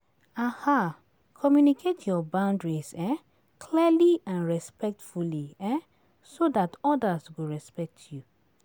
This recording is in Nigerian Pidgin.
Communicate your boundaries clearly and respectfully so dat others go respect you.